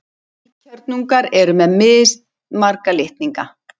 Heilkjörnungar eru með mismarga litninga.